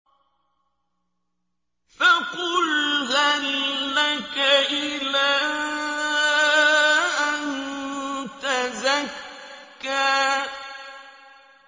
فَقُلْ هَل لَّكَ إِلَىٰ أَن تَزَكَّىٰ